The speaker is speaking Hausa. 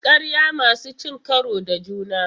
Ƙarya masu cin karo da juna.